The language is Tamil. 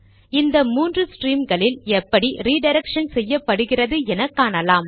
இந்த மூன்று ஸ்ட்ரீம்களில் எப்படி ரிடிரக்ஷன் செய்யப்படுகிறது என காணலாம்